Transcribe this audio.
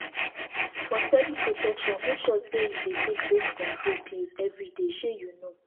for steady protection make sure say you dey take your birth control pills every day shey you know